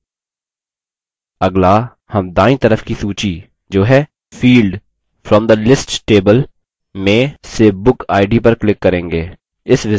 अगला हम दायीं तरफ की सूची जो है field from the list table में से book id पर click करेंगे